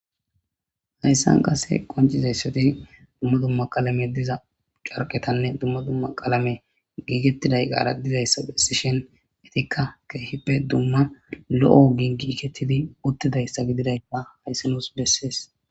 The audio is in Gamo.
Hayssan qase qoncizayssati dumma dumma qalame diza carqetanne dumma dumma qalame giigettiday qaaradizayssa phessishen etikka keehippe dumma lo'o gii giikettidi uttidayssa gididay ba hayssinos bessees